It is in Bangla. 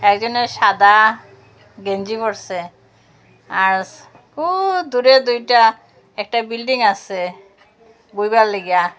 একজনে সাদা গেঞ্জি পড়ছে আর ও দূরে দুইটা একটা বিল্ডিং আছে বইবার লইগা।